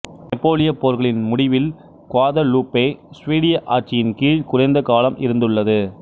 நெப்போலியப் போர்களின் முடிவில் குவாதலூப்பே சுவீடிய ஆட்சியின் கீழ் குறைந்த காலம் இருந்துள்ளது